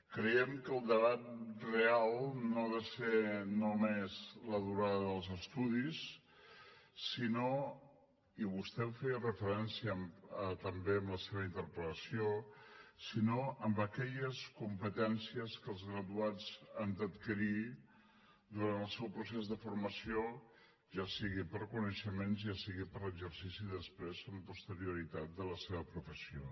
creiem que el debat real no ha de ser només la durada dels estudis sinó i vostè feia hi referència també en la seva interpel·lació en aquelles competències que els graduats han d’adquirir durant el seu procés de formació ja sigui per coneixements ja sigui per exercici després amb posterioritat de la seva professió